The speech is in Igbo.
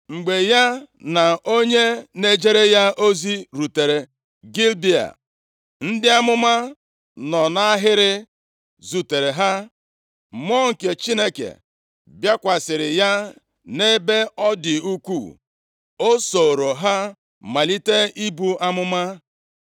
Mgbe ya na onye na-ejere ya ozi rutere Gibea, ndị amụma nọ nʼahịrị zutere ha. Mmụọ nke Chineke bịakwasịrị ya nʼebe ọ dị ukwu, o sooro ha malite ibu amụma.